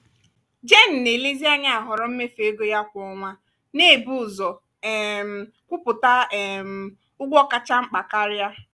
jen na-elezianya ahoro mmefu ego ya kwa ọnwa na-ebu ụzọ um kwụpụta um ụgwọ kachasi mkpa karia